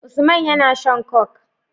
Usman yAna shan coke